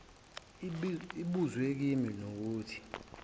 ibuzwe kimi nokuthi